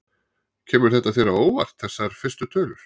Kemur þetta þér á óvart þessar fyrstu tölur?